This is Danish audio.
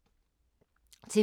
TV 2